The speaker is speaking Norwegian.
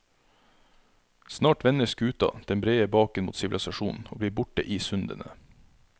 Snart vender skuta den brede baken mot sivilisasjonen og blir borte i sundene.